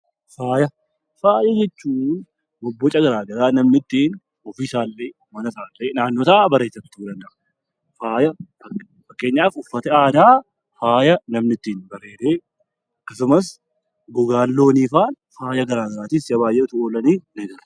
Faaya. Faaya jechuun bobboca garaa garaa namni ittiin ofii isaa, mama isaa fi naannoo isaa bareeffachuu danda'a. Faaya fakkeenyaaf uffati aadaa faaya namni ittiin bareedee akkasumas gogaan loonii fa'aa faaya garaa garaatiif si'a baayyee ooluu danda'u.